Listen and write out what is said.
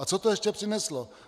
A co to ještě přineslo?